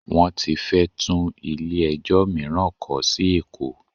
Wọ́n ti fẹ́ tún ilé ẹjọ́ mìíràn kọ́ sí Èkó.